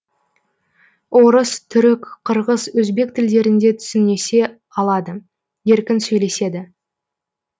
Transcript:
орыс түрік қырғыз өзбек тілдерінде түсінісе алады еркін сөйлеседі